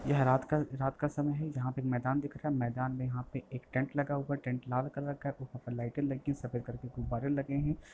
यह रात का रात का समय है। यहाँ पे मैदान दिख रहा है मैदान में यहाँ पे एक टेंट लगा हुआ है टेंट लाल कलर का है। लाईटे लगी हैं। सफ़ेद कलर की गुब्बारे लगे हैं।